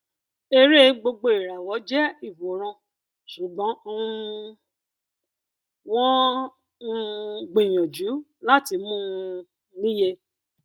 eré gbogboìràwọ jẹ ìwòran ṣùgbọn um wọn um gbìyànjú láti mú un um níye